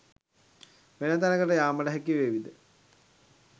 වෙන තැනකට යාමට හැකිවේවිද?